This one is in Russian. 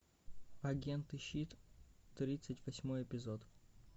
агенты щит тридцать восьмой эпизод